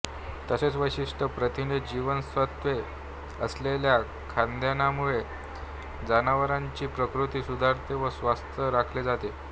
तसेच विशिष्ट प्रथिनेजीवनसत्वे असलेल्या खाद्यान्नामुळे जनावरांची प्रकृती सुधारते व स्वास्थ राखले जाते